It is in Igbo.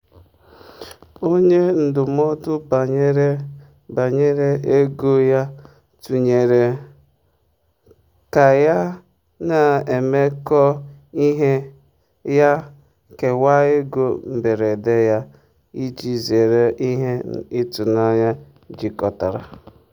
onye ndụmọdụ banyere banyere ego ya tụnyere um ka ya na mmekọe ihe ya kewaa ego mberede ya iji zere ihe ịtụnanya jikọtara.